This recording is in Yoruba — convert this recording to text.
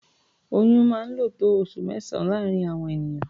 Oyún máa ń lò tó oṣù mẹ́sàn-án láàárín àwọn ènìyàn.